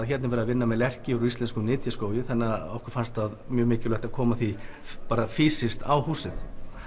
hérna er verið að vinna með lerki úr íslenskum nytjaskógi þannig að okkur fannst það mjög mikilvægt að koma því fýsískt á húsið